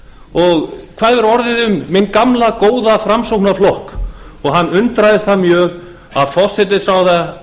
og hvað hefur orðið um minn gamla góða framsóknarflokk hann undraðist það mjög að forsætisráðherra